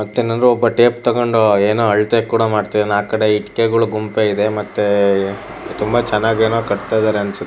ಮತ್ತೇನಾದ್ರು ಒಬ್ಬ ಟೇಪ್ ತಕೊಂಡು ಏನೋ ಅಳತೆ ಕೂಡ ಮಾಡ್ತಿದ್ದಾನೆ. ಆಕಡೆ ಇಟ್ಟಿಗೆಗಳ ಗುಂಪೇ ಇದೆ ಮತ್ತೆ ತುಂಬ ಚೆನ್ನಾಗ್ ಏನೋ ಕಟ್ತಾ ಇದ್ದಾರೆ ಅನ್ಸುತ್ತೆ--